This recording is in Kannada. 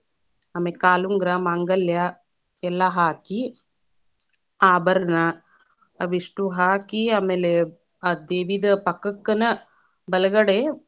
ಆಮೇಲೆ ಕಾಲುಂಗರಾ, ಮಾಂಗಲ್ಯಾ, ಎಲ್ಲಾ ಹಾಕಿ ಆಭರಣ, ಅವಿಷ್ಟು ಹಾಕಿ ಆಮೇಲೆ ಆ ದೇವಿದ ಪಕ್ಕಕ್ಕನ ಬಲಗಡೆ.